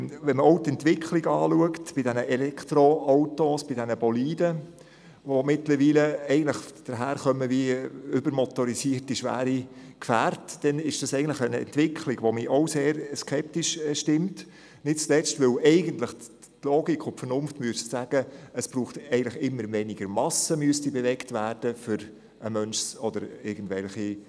Wenn man die Entwicklung bei den Elektroautos ansieht, bei diesen Boliden, die mittlerweile daherkommen wie übermotorisierte, schwere Gefährte, dann ist das eine Entwicklung, die mich eigentlich auch sehr skeptisch stimmt, nicht zuletzt deshalb, weil eigentlich die Logik und die Vernunft sagen würden, es brauche immer weniger Masse, um einen Menschen oder Güter zu transportieren.